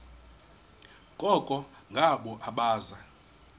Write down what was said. koko ngabo abaza